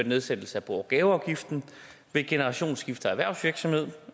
nedsættelse af bo og gaveafgiften ved generationsskifte af erhvervsvirksomhed